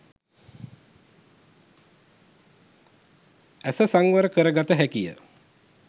ඇස සංවර කර ගත හැකිය